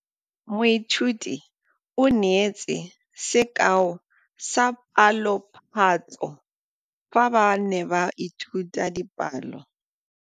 Moithuti o neetse sekaô sa palophatlo fa ba ne ba ithuta dipalo.